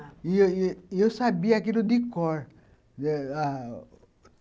– E eu e eu sabia aquilo de cor.